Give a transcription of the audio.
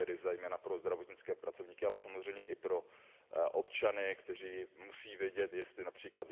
To je zejména pro zdravotnické pracovníky, ale samozřejmě i pro občany, kteří musí vědět, jestli např.